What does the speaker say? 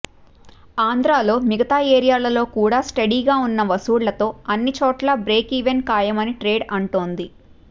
ఆంధ్రలో మిగతా ఏరియాలలో కూడా స్టడీగా వున్న వసూళ్లతో అన్ని చోట్లా బ్రేక్ ఈవెన్ ఖాయమని ట్రేడ్ అంటోంది